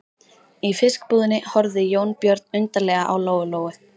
Í fiskbúðinni horfði Jónbjörn undarlega á Lóu Lóu.